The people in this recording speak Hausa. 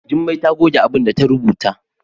Jummai ta goge abinda ta rubuta.